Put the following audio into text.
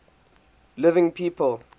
living people